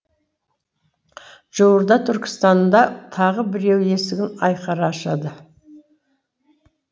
жуырда түркістанда тағы біреуі есігін айқара ашады